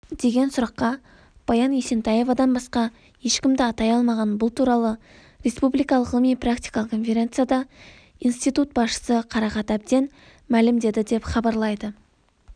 деген сұраққа баян есентаевадан басқа ешкімді атай алмаған бұл туралы республикалық ғылыми-практикалық конференцияда институт басшысы қарақат әбден мәлімдеді деп хабарлайды